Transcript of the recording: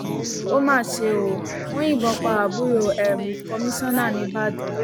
ó mà ṣe ó wọn yìnbọn pa àbúrò um kọmíṣánná níìbàdàn